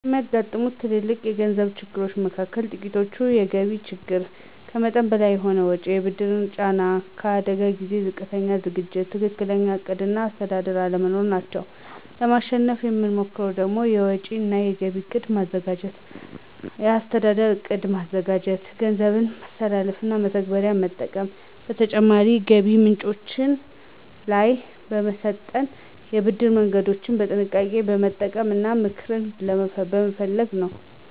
የሚያጋጥሙዎት ትልልቅ የገንዘብ ችግሮች መካከል ጥቂቶቹ፤ የገቢ ችግር፣ ከመጠን በላይ የሆነ ወጪ፣ የብድር ጫና፣ የአደጋ ጊዜ ዝቅተኛ ዝግጅት፣ ትክክለኛ ዕቅድ እና አስተዳደር አለመኖር ናቸው። ለማሸነፍ የምሞክረው ደግሞ፤ የወጪ እና የገቢ እቅድ በማዘጋጀት፣ የአስተዳደር ዕቅድ በማዘጋጀት፣ የገንዘብ ማስተላለፊያና መተግበሪያዎችን በመጠቀም፣ በተጨማሪ ገቢ ምንጮች ላይ በመሰልጠን፣ የብድር መንገዶችን በጥንቃቄ በመጠቀም እና ምክር በመፈለግ ነው።